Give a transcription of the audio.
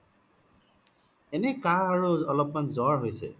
এনে কাঁহ আৰু অলপ মান জৰ হৈছে